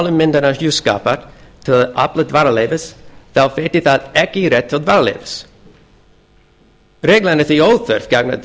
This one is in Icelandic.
málamyndahjúskapar til að afla dvalarleyfis veiti það ekki rétt til dvalarleyfis reglan er því óþörf gagnvart